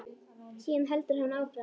Síðan heldur hann áfram.